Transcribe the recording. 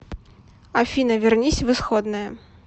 афина вернись в исходное